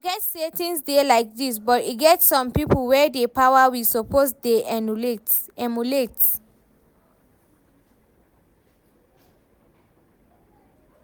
Forget say things dey like dis but e get some people wey dey power we suppose dey emulate